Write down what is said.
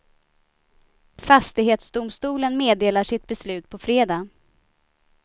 Fastighetsdomstolen meddelar sitt beslut på fredag.